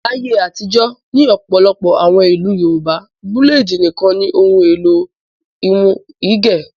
Láyé àtijọ́ ní ọ̀pọ̀lọpọ̀ àwọn ìlú Yorùbá búlédì nìkan ni ohun-èlò irun gígẹ̀.